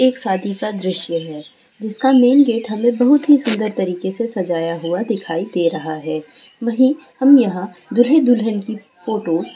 एक शादी का दृश्य है जिसका मेन गेट हमें बोहोत ही सूंदर तरीक़े से सजाया हुआ दिखाई दे रहा है वही हम यहाँ दूल्हे दुल्हन की फोटोस --